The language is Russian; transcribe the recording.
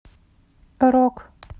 рок